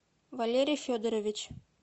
валерий федорович